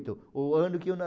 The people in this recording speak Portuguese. o ano que eu